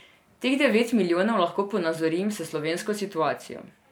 Teh devet milijonov lahko ponazorim s slovensko situacijo.